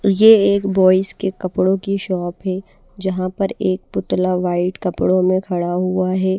ये एक बॉयज के कपड़ों की शॉप है जहां पर एक पुतला व्हाइट कपड़ों में खड़ा हुआ है।